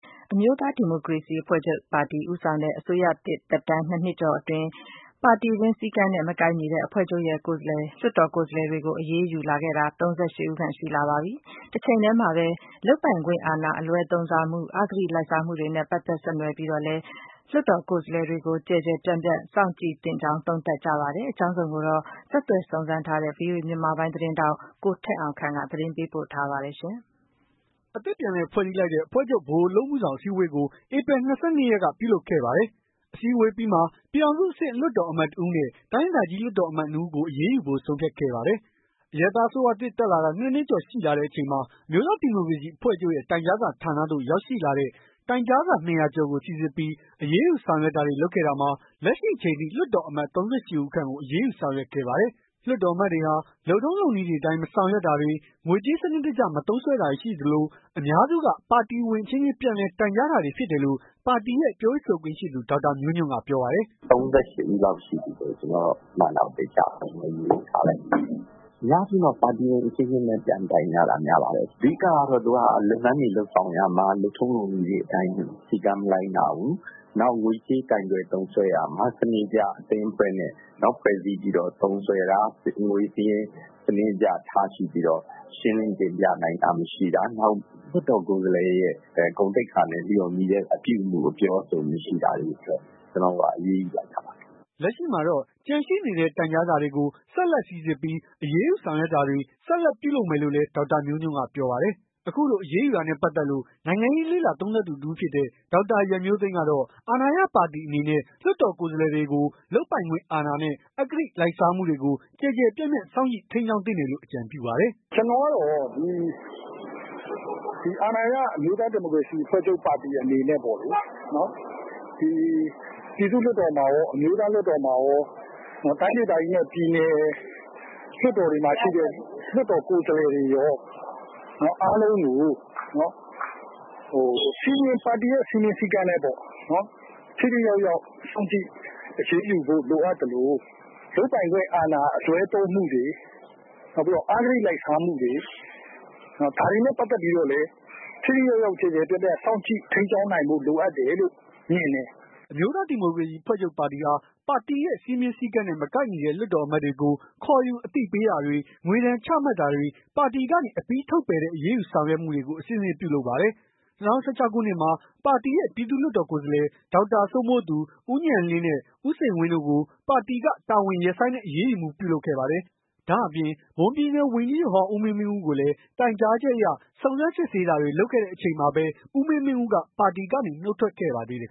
အမျိုးသားဒီမိုကရေစီအဖွဲ့ချုပ်ဦးဆောင်တဲ့ အစိုးရသစ်၂ နှစ်ကျော်ကာလအတွင်းမှာ အဖွဲ့ချုပ်ရဲ့ လွှတ်တော် အမတ်တွေကို ပါတီစည်းကမ်းတွေနဲ့ မကိုက်ညီတဲ့အတွက် အရေးယူတာဟာ ၃၈ ဦးခန့် ရှိပြီဖြစ်ပါတယ်။ ဒါ့အပြင် လွှတ်တော်ကိုယ်စားတွေကို လုပ်ပိုင်ခွင့်အာဏာ အလွဲသုံးစားမှုတွေနဲ့ အဂတိလိုက်စားမှုတွေကိုလည်း ကျယ်ကျယ်ပြန့်ပြန့် စောင့်ကြည့်သင့်တယ်လို့ သုံးသပ်မှုတွေလည်းရှိနေပါတယ်။ဒီအကြောင်း အပြည့် အစုံကိုတော့ ဗွီအိုအေ မြန်မာပိုင်း သတင်းထောက် ကိုထက်အောင်ခန့်က သတင်းပေးပို့ထားပါတယ်။ အသစ်ပြန်လည်ဖွဲ့စည်းလိုက်တဲ့ အဖွဲ့ချုပ် ဗဟိုအလုပ်မှုဆောင် အစည်းအဝေးကို ဧပြီ ၂၂ ရက်က ပြုလုပ်ခဲ့ပါတယ်။ အစည်းအဝေးအပြီးမှာ ပြည်ထောင်စုအဆင့် လွှတ်တော် အမတ် ၁ ဦးနဲ့ တိုင်းဒေသကြီး လွှတ်တော်အမတ် ၂ ဦးကို အရေးယူဖို့ ဆုံးဖြတ်ခဲ့ပါတယ်။ အရပ်သားအစိုးရသစ်တက်လာတာ ၂ နှစ်ကျော်ရှိလာတဲ့အချိန်မှာ အမျိုးသားဒီမိုကရေစီအဖွဲ့ချုပ်ရဲ့ တိုင်ကြားစာ ဌာနသို့ ရောက်ရှိလာတဲ့ တိုင်ကြားစာ ၂၀၀ ကျော်ကို စီစစ်ပြီး အရေးယူဆောင်ရွက်တာ တွေလုပ်ခဲ့တာမှာ လက်ရှိအချိန်ထိ လွတ်တော်အမတ် ၃၈ ဦးခန့်ကို အရေး ယူဆောင်ရွက်ခဲ့ပါတယ်။ လွှတ်တော်အမတ်တွေဟာ လုပ်ထုံးလုပ်နည်းတွေအတိုင်း မဆောင်ရွက်တာတွေ ငွေကြေးစနစ်တကျ မသုံးစွဲတာတွေရှိသလို အများစုက ပါတီဝင်အချင်းချင်းပြန်လည် တိုင်ကြားတာဖြစ်တယ်လို့ ပါတီရဲ့ ပြောရေးဆိုခွင့်ရှိသူ ဒေါက်တာမျိုးညွန့်ကပြောပါတယ်။ "၃၈ ဦးလောက်ရှိပြီလို့ ကျွန်တော်မှန်းထားတာ သေချာမရေထားလိုက်မိဘူး။ အများစုက ပါတီဝင်အချင်းချင်းပဲ ပြန်တိုင်ကြတာများပါတယ်။ အဓိက ကတော့ လုပ်ငန်းတွေလုပ်ဆောင်ရာမှာ လုပ်ထုံးလုပ်နည်းတွေ အတိုင်း စည်းကမ်းမလိုက်နာဘူး။ ငွေကြေးကိုင်တွယ်သုံးစွဲတာမှာ စနစ်တကျအသင်းအဖွဲ့နဲ့ ဖွဲ့စည်းပြီးသုံးစွဲတာ ငွေစာရင်း စနစ်တကျထားရှိပြီးတော့ ရှင်းလင်းတင်ပြနိုင်တာမရှိတာ နောက်လွှတ်တော်ကိုယ်စားလှယ်ရဲ့ ဂုဏ်သိက္ခာနဲ့ လျော်ညီတဲ့ အပြုအမူအပြောအဆိုတွေ အတွက် ကျွန်တော်တို့က အရေးယူတာပါ။" လက်ရှိမှာတော့ ကျန်ရှိနေတဲ့ တိုင်ကြားစာတွေကို ဆက်လက်စီစစ်ပြီး အရေးယူဆောင်ရွက်တာတွေ ဆက်လက်ပြုလုပ်မယ်လို့လည်း ဒေါက်တာမျိုးညွန့်ကပြောပါတယ်။ အခုလိုအရေးယူတာနဲ့ပတ်သက်လို့ နိုင်ငံရေးလေ့လာသုံးသပ်သူတစ်ဦးဖြစ်တဲ့ ဒေါက်တာရန်မျိုးသိမ်းကတော့ အာဏာရပါတီအနေနဲ့ လွှတ်တော်ကိုယ်စားလှယ်တွေကို လုပ်ပိုင်ခွင့်အာဏာနဲ့အဂတိလိုက်စားမှုတွေကို ကျယ်ကျယ်ပြန့်ပြန့် စောင့်ကြည့်ထိန်းကျောင်းသင့်တယ်လို့ အကြံပြုပါတယ်။ "ကျွန်တော်ကတော့ ဒီအာဏာရအမျိုးသားဒီမိုကရေစီအဖွဲ့ချုပ်ပါတီအနေနဲ့ပေါ့လေ။ ဒီပြည်သူ့လွှတ်တော်မှာ ကောအမျိုးသားလွှတ်တော်မှာကော တိုင်းဒေသကြီးနဲ့ပြည်နယ် လွှတ်တော်တွေမှာရှိတဲ့ လွှတ်တော်ကိုယ်စား တွေကော အားလုံးကို ပါတီရဲ့စည်းမျဉ်းစည်းကမ်းနဲ့ပေါ့နော် ထိထိရောက်ရောက် စောင့်ကြည့်အရေးယူဖို့ လိုအပ်သလို လုပ်ပိုင်ခွင့်အာဏာ အလွဲသုံးမှုတွေ အဂတိလိုက်စားမှုတွေ ဒါတွေနဲ့ပတ်သက်ပြီးတော့လည်း ထိထိရောက်ရောက် ကျယ်ကျယ်ပြန့်ပြန့် စောင့်ကြည့်ထိန်းကျောင်းနိုင်ဖို့ လိုအပ်တယ်လို့ မြင်တယ်။" အမျိုးသားဒီမိုကရေစီအဖွဲ့ချုပ်ပါတီဟာ ပါတီစည်းမျဉ်းစည်းကမ်းနဲ့ မကိုက်ညီတဲ့ လွှတ်တော်အမတ်တွေကို ခေါ်ယူအတိပေးတာတွေ ငွေဒဏ်ချမှတ်တာတွေ ပါတီကနေ အပြီးထုတ်ပယ်တဲ့ အရေးယူဆောင်ရွက်မှုတွေကို အဆင့်ဆင့်ပြုလုပ်ပါတယ်။ ၂၀၁၆ ခုနှစ်မှာ ပါတီရဲ့ ပြည်သူ့လွှတ်တော်ကိုယ်စားလှယ် ဒေါက်တာစိုးမိုးသူ ၊ ဦးဉာဏ်လင်းနဲ့ ဦးစိန်ဝင်းတို့ကို ပါတီကတာဝန်တွေရပ်ဆိုင်တဲ့ အရေးယူမှုပြုလုပ်ခဲ့ပါတယ်။ဒါ့အပြင် မွန်ပြည်နယ်ဝန်ကြီးချုပ်ဟောင်း ဦးမင်းမင်းဦးကိုလည်း တိုင်ကြားချက်အရ စုံစမ်းစစ်ဆေးတာတွေလုပ်ခဲ့တဲ့အချိန်မှာပဲ ဦးမင်းမင်းဦးက ပါတီကနေ နှုတ်ထွက်ခဲ့ပါသေးတယ်။